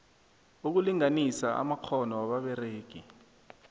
ukulinganisa amakghono wababeregi